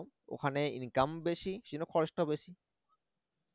ওখানে income বেশি সেজন্য খরচাও বেশি